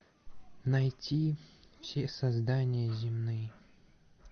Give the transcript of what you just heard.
найти все создания земные